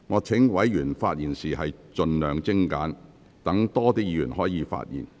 請委員發言時盡量精簡，讓更多委員可以發言。